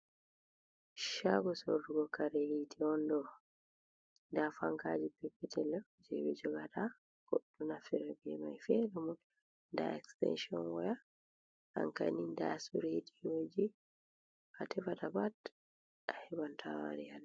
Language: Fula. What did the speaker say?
Shago sorugo kare yiti on ɗo, nda fankaji peppetel je ɓe jogata goɗɗo naftira mai ferenimu nda estenshon woya ankamni nda su rediyoji hatefata pat a hebantawari haɗo.